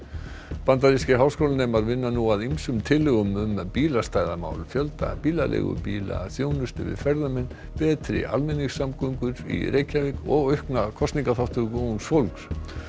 bandarískir háskólanemar vinna nú að ýmsum tillögum um bílastæðamál fjölda bílaleigubíla þjónustu við ferðamenn betri almenningssamgöngur í Reykjavík og aukna kosningaþátttöku ungs fólks